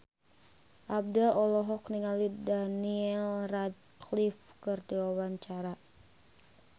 Abdel olohok ningali Daniel Radcliffe keur diwawancara